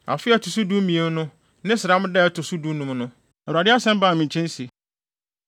Afe a ɛto so dumien no ne sram da a ɛto so dunum no, Awurade asɛm baa me nkyɛn se: